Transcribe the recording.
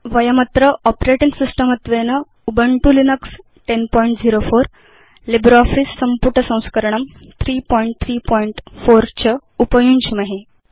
वयमत्र operating system त्वेन Ubuntu Linux 1004 LibreOffice संपुटसंस्करणं 334 च उपयुञ्ज्महे